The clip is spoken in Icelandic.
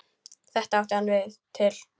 Þetta átti hann til.